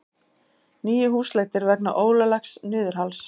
Níu húsleitir vegna ólöglegs niðurhals